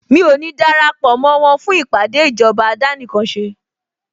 Mí ò ní darapọ̀ mó wọn fún ìpàdé ìjọba àdánìkanṣe